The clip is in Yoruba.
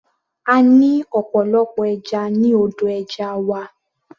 A ní ọ̀pọ̀lọpọ̀ ẹja ní odò ẹja wa.